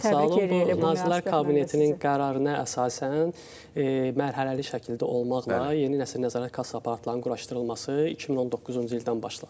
Nazirlər Kabinetinin qərarına əsasən mərhələli şəkildə olmaqla yeni nəsil nəzarət kassa aparatlarının quraşdırılması 2019-cu ildən başladı.